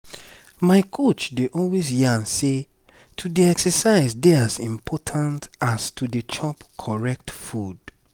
my coach dey always yarn say to dey exercise dey as important as to dey chop correct food.